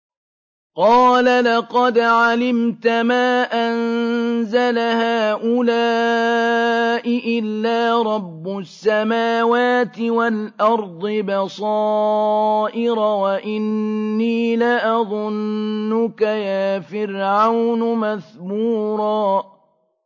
قَالَ لَقَدْ عَلِمْتَ مَا أَنزَلَ هَٰؤُلَاءِ إِلَّا رَبُّ السَّمَاوَاتِ وَالْأَرْضِ بَصَائِرَ وَإِنِّي لَأَظُنُّكَ يَا فِرْعَوْنُ مَثْبُورًا